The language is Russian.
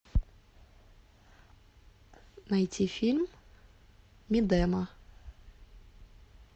найти фильм мидема